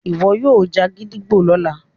iwọ yoo já gídígbò lọla